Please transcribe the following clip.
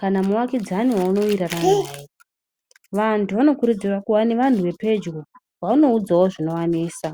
kana muvakidzani waunowirirana naye ,vantu vanokurudzirwa kuva nevantu vepedyo vaunoudzawo zvinovanesa.